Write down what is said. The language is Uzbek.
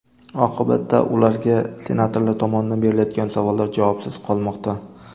Oqibatda ularga senatorlar tomonidan berilayotgan savollar javobsiz qolmoqda.